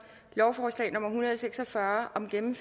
lovforslag nummer hundrede og seks og fyrre